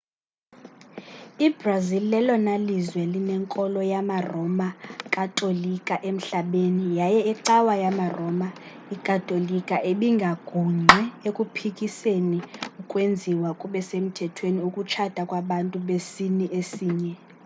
i-brazil lelona lizwe linenkolo yamaroma katolika emhlabeni yaye icawa yamaroma katolika ibingagungqi ekuphikiseni ukwenziwa kube semthethweni ukutshata kwabantu besini esinye